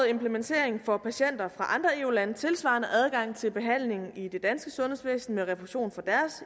implementering får patienter fra andre eu lande tilsvarende adgang til behandling i det danske sundhedsvæsen med refusion fra